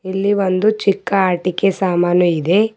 ಇಲ್ಲಿ ಒಂದು ಚಿಕ್ಕ ಆಟಿಕೆ ಸಾಮಾನು ಇದೆ.